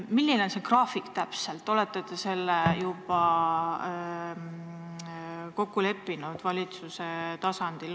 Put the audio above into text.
Milline see graafik täpselt on, kas te olete selle juba valitsuse tasandil kokku leppinud?